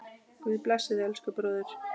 Guð blessi þig, elsku bróðir.